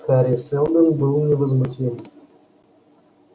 хари сэлдон был невозмутим